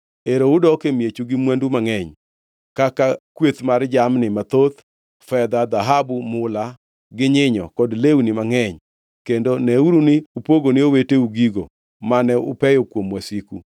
“Ero udok e miechu gi mwandu mangʼeny kaka kweth mar jamni mathoth, fedha, dhahabu, mula gi nyinyo, kod lewni mangʼeny kendo neuru ni upogone oweteu gigo mane upeyo kuom wasiku.”